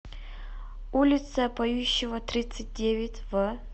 улица поющева тридцать девять в